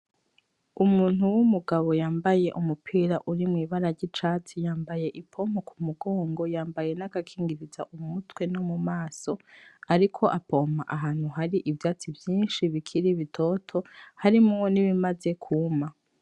Umuntu w'umugabo yambaye umupira urimwo ibara ry'icatsi ;yambaye ipompo ku mugongo ;yambaye n'agakingiriza umutwe no mu maso ,ariko apompa ahantu hari ivyatsi vyinshi bikiri bitoto harimwo nibimaze kuma.